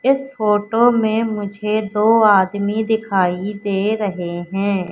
इस फोटो में मुझे दो आदमी दिखाई दे रहे हैं।